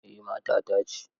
Eh matata ce.